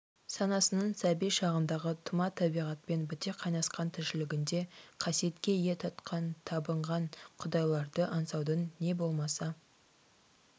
санасының сәби шағындағы тұма табиғатпен біте қайнасқан тіршілігінде қасиетке ие тұтқан табынған құдайларды аңсаудың не болмаса